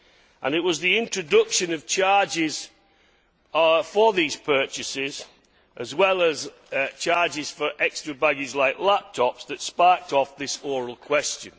And it was the introduction of charges for these purchases, as well as charges for extra baggage like laptops that sparked off this oral question.